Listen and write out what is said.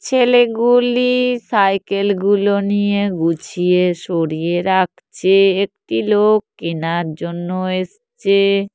ছেলেগুলি cycle -গুলো নিয়ে গুছিয়ে সরিয়ে রাখছে। একটি লোক কেনার জন্য এসেছে।